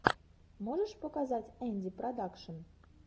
можешь показать энди продакшн